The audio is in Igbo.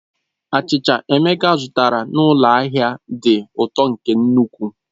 Achịcha Emeka zụtara n'ụlọ ahịa dị ụtọ nke ukwuu.